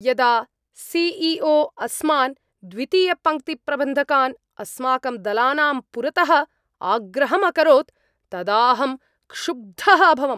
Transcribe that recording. यदा C E O अस्मान्, द्वितीयपङ्क्तिप्रबन्धकान्, अस्माकं दलानां पुरतः आग्रहम् अकरोत् तदाहं क्षुब्धः अभवम्।